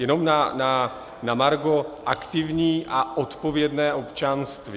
Jenom na margo aktivní a odpovědné občanství.